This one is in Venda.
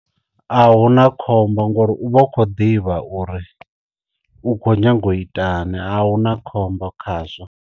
A hu na khombo ngori u vha u kho ḓivha uri u khou nyanga u itani a hu na khombo khazwo.